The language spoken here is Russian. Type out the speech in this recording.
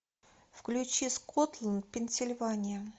включи скотланд пенсильвания